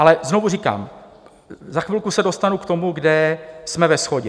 Ale znovu říkám, za chvilku se dostanu k tomu, kde jsme ve shodě.